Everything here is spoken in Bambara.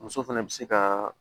Muso fɛnɛ bɛ se ka